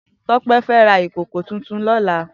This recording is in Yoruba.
Tope fè rá ikókó tútún lòlá